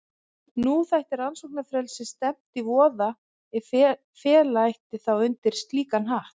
Nú þætti rannsóknarfrelsi stefnt í voða ef fella ætti þá undir slíkan hatt.